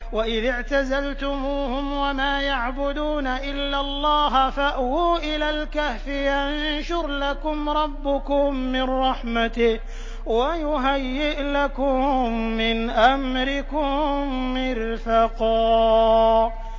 وَإِذِ اعْتَزَلْتُمُوهُمْ وَمَا يَعْبُدُونَ إِلَّا اللَّهَ فَأْوُوا إِلَى الْكَهْفِ يَنشُرْ لَكُمْ رَبُّكُم مِّن رَّحْمَتِهِ وَيُهَيِّئْ لَكُم مِّنْ أَمْرِكُم مِّرْفَقًا